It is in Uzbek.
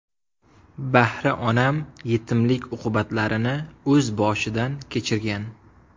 Bahri onam yetimlik uqubatlarini o‘z boshidan kechirgan.